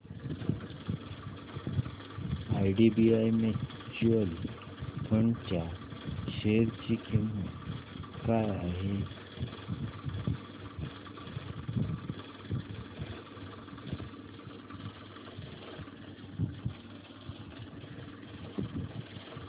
IDBI mutual fund च्या share ची किंमत काय आहे